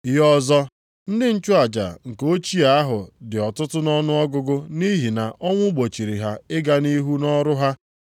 Ihe ọzọ, ndị nchụaja nke ochie ahụ dị ọtụtụ nʼọnụọgụgụ nʼihi na ọnwụ gbochiri ha ịga nʼihu nʼọrụ ha.